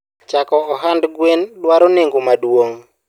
chako ohand gweni dwaro nengo maduong